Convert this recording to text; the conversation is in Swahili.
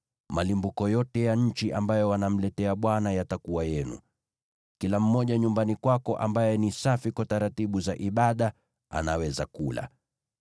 Malimbuko yote ya nchi ambayo wanamletea Bwana yatakuwa yenu. Kila mmoja nyumbani kwako ambaye ni safi kwa taratibu za Ibada anaweza kula.